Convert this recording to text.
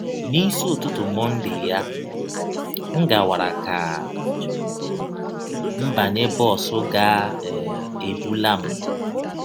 N’isi ụtụtụ Monday ya, m gawara ka m banye bọs ga - um ebụla m.